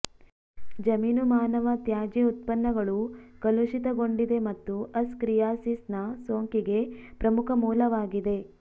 ಜಮೀನು ಮಾನವ ತ್ಯಾಜ್ಯ ಉತ್ಪನ್ನಗಳು ಕಲುಷಿತಗೊಂಡಿದೆ ಮತ್ತು ಅಸ್ಕರಿಯಾಸಿಸ್ ನ ಸೋಂಕಿಗೆ ಪ್ರಮುಖ ಮೂಲವಾಗಿದೆ